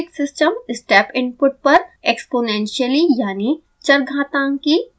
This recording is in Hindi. कोई भी प्रायोगिक सिस्टम step input पर एक्सपोनेंशियली यानि चरघातांकी रूप से प्रतिक्रिया देगा